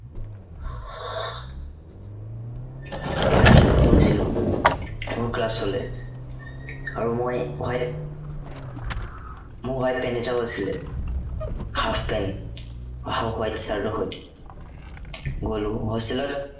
white shoe পিন্ধি গৈছিলো। মোৰ class লে আৰু মই white মোৰ white pant এটাও আছিলে। half pant আহ white shirt ৰ সৈতে গ'লো hostel ত